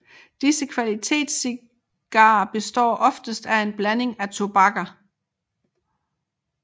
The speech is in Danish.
Disse kvalitetscigarer består oftest af en blanding af tobakker